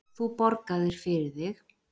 Þú borgaðir fyrir þig.